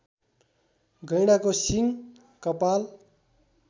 गैंडाको सिङ कपाल